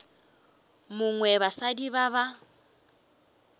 mongwe wa basadi ba ba